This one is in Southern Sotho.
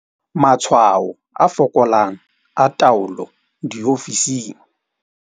Matshwao a fokolang a taolo diofising.